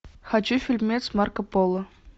хочу фильмец марко поло